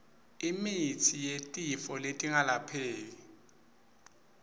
imitsi yetifo letingapheli